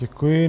Děkuji.